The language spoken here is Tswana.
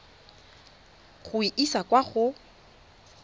go e isa kwa go